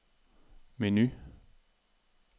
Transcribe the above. menu